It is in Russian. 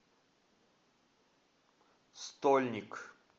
стольник